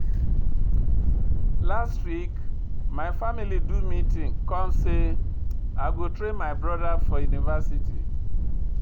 Last week, my family do meeting come sey I go train my broda for university.